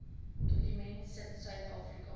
dokument sit suidafrika